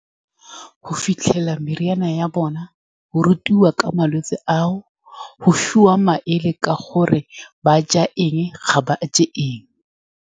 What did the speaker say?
Go fitlhelela meriana ya , bona, go rutiwa ka malwetse ao, go fiwa maele ka gore ba ja eng, ga ba je eng.